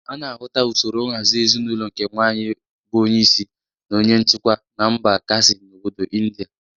A na-ahụta usoro nhazị ezinaụlọ nke nwaanyị bụ onyeisi na onye nchikwa na mba Khasi n'obodo Indịa.